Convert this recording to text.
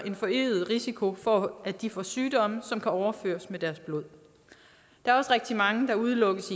en forøget risiko for at de får sygdomme som kan overføres med deres blod der er også rigtig mange der udelukkes